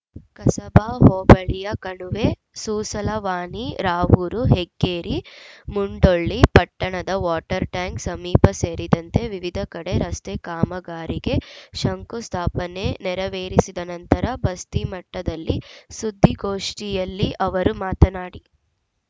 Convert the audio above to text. ಕಸಬಾ ಹೋಬಳಿಯ ಕಣುವೆ ಸೂಸಲವಾನಿ ರಾವೂರು ಹೆಗ್ಗೇರಿ ಮುಂಡೊಳ್ಳಿ ಪಟ್ಟಣದ water tank ಸಮೀಪ ಸೇರಿದಂತೆ ವಿವಿಧ ಕಡೆ ರಸ್ತೆ ಕಾಮಗಾರಿಗೆ ಶಂಕು ಸ್ಥಾಪನೆ ನೆರವೇರಿಸಿದ ನಂತರ ಬಸ್ತಿಮಠದಲ್ಲಿ ಸುದ್ದಿಗೋಷ್ಠಿಯಲ್ಲಿ ಅವರು ಮಾತನಾಡಿ